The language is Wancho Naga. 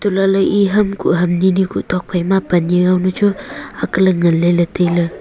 untoh lahley e ham kuh ham nini kuh tok phaima pane yawnu chu akley ngan leley tailey.